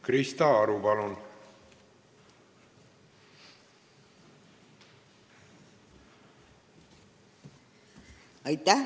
Krista Aru, palun!